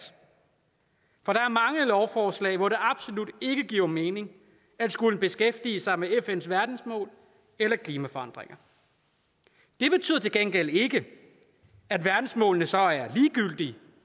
for der er mange lovforslag hvor det absolut ikke giver mening at skulle beskæftige sig med fns verdensmål eller klimaforandringer det betyder til gengæld ikke at verdensmålene så er ligegyldige